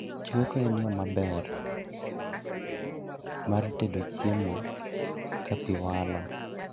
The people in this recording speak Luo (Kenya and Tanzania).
Chweko en yoo mar tedo chiemo kapii walo